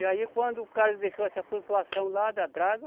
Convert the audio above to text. E aí quando o cara deixou essa flutuação lá da draga,